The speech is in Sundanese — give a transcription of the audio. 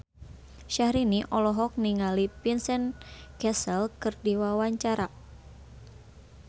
Syahrini olohok ningali Vincent Cassel keur diwawancara